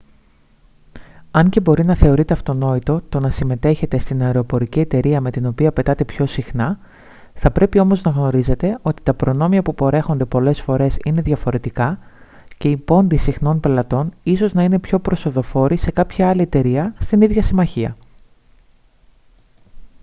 αν και μπορεί να θεωρείτε αυτονόητο το να συμμετέχετε στην αεροπορική εταιρεία με την οποία πετάτε πιο συχνά θα πρέπει όμως να γνωρίζετε ότι τα προνόμια που παρέχονται πολλές φορές είναι διαφορετικά και οι πόντοι συχνών πελατών ίσως να είναι πιο προσοδοφόροι σε κάποια άλλη εταιρεία στην ίδια συμμαχία